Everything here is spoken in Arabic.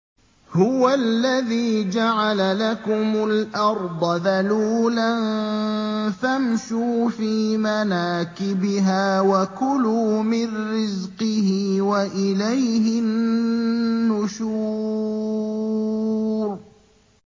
هُوَ الَّذِي جَعَلَ لَكُمُ الْأَرْضَ ذَلُولًا فَامْشُوا فِي مَنَاكِبِهَا وَكُلُوا مِن رِّزْقِهِ ۖ وَإِلَيْهِ النُّشُورُ